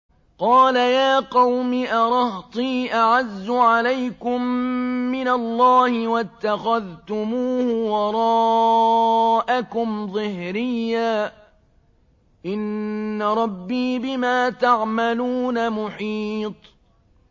قَالَ يَا قَوْمِ أَرَهْطِي أَعَزُّ عَلَيْكُم مِّنَ اللَّهِ وَاتَّخَذْتُمُوهُ وَرَاءَكُمْ ظِهْرِيًّا ۖ إِنَّ رَبِّي بِمَا تَعْمَلُونَ مُحِيطٌ